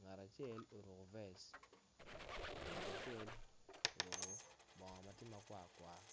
ngat acel oruko vec ngat acel oruko bongo ma tye makwar kwar.